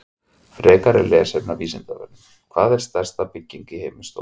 Frekra lesefni af Vísindavefnum: Hvað er stærsta bygging í heimi stór?